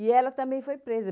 E ela também foi presa.